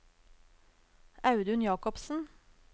Audun Jakobsen